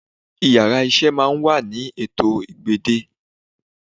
Íyarà iṣẹ máà ń wa ni étò ììgbẹ̀dẹ́